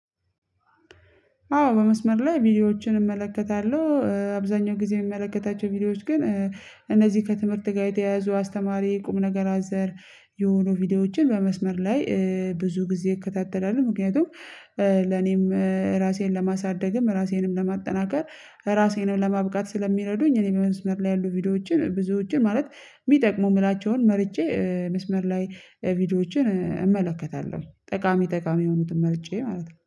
አዎ በመስመር ላይ ቪዲዮዎችን እመለከታለሁ አብዛኛው ጊዜ የምመለከታቸው ቪዲዮዎች ግን እነዚህ ከትምህርት ጋር የተያያዙ አስተማሪ ቁም ነገር አዘል የሆኑ ቪዲዮዎችን በመስመር ላይ ብዙ ጊዜ እከታተላለሁ ምክንያቱም ለኔም ራሴን ለማሳደግም፣ ራሴንም ለማጠናከር፣ ራሴንም ለማብቃት ስለሚረዱኝ እኔ በመስመር ላይ ያሉ ቪዲዮዎችን ብዙዎችን ማለት የሚጠቅሙ የምላቸውን መርጬ መስመር ላይ ቪዲዮዎችን እመለከታለሁ ጠቃሚ ጠቃሚ የሆኑትን መርጬ ማለት ነው።